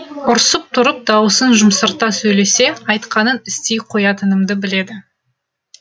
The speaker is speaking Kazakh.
ұрсып тұрып дауысын жұмсарта сөйлесе айтқанын істей қоятынымды біледі